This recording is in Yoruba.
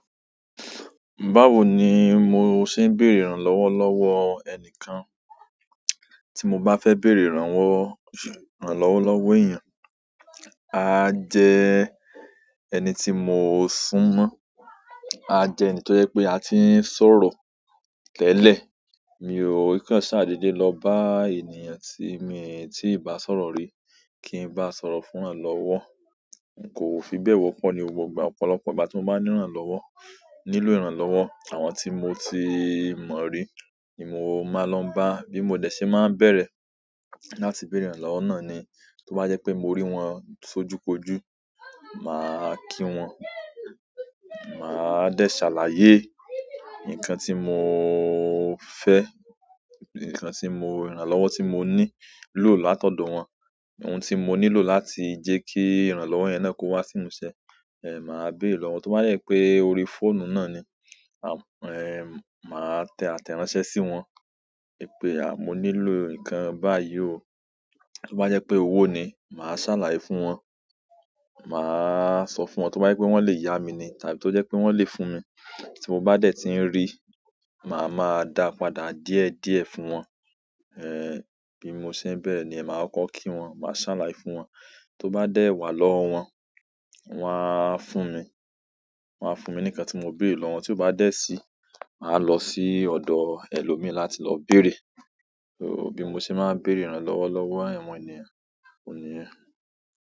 Báwo ni mo ṣe ń béèrè ìrànlọ́wọ́ lọ́wọ́ ẹnìkan, tí mo bá fẹ́ béèrè ìrànwọ́ ìrànlọ́wọ́ lowo èèyàn, aa jẹ ẹni tí mo sùn mọ́, a jẹ ẹni tó jẹ pé a ti ń sọ̀rọ̀ tẹ́lẹ̀. Mi ò í kan ṣàdééde lọ bá ènìyàn tí mii tí ì bá sọ̀rọ̀ rí, kí n bá sọ̀rọ̀ fún ranlọ́wọ́. Kò fi bẹ́ẹ̀ wọ́pọ̀ ni gbogbo ìgbà, ọ̀pọ̀lọpọ̀ ìgbà tí mo bá níranlọ́wọ́, nílò ìrànlọ́wọ́, àwọn tí mo ti mọ̀ rí ni mo máa lọ n bá. Bí mo dẹ̀ ṣe máa n bẹ̀rẹ̀ láti béèrè ìrànlọ́wọ́ náà ni, tó bá jpé mo rí wọn sójúkojú, màá kí wọn, maa de salaye nkan ti mo fe, nkan ti mo, ìrànlọ́wọ́ ti mo ni lo látọ̀dọ̀ won, ohun ti mo nílò láti je ki ìrànlọ́wọ́ yen náà ko wa si imuse maa bere lowo to ba de je pe orí fóònù naani, maa te ateranse si won wípé ah mo nílò nkan báyìí o tó bá yẹ pé owó ni, màá ṣàlàyé fún wọn, màá sọ fún wọn. Tó bá je pé wọ́n lè yá mi ni tàbí tó jẹ́ pé wọ́n lè fún mi tí mo bá dẹ̀ ti ń rí, màá maa dàa padà díẹ̀díẹ̀ fún wọn. Ehn, bí mo ṣe ń bẹ̀rẹ̀ niyen, màá kokọ́ kí wọn, màá ṣàlàyé fún wọn. Tó bá dẹ̀ wà lọ́wọ́ wọn, wọ́n á fún mi, wọ́n á fún mi ní ǹkan tí mo béèrè lọ́wọ́ wọn. Tí ó bá dẹ̀ sí, màá lọ sí ọ̀dọ̀ ẹlòmíì láti lọ bèèrè. Bí mo ṣe máa ń béèrè ìrànlọ́wọ́ lọ́wọ́ àwọn ènìyàn, òun niyẹ́n.